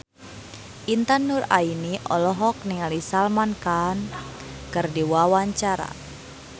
Intan Nuraini olohok ningali Salman Khan keur diwawancara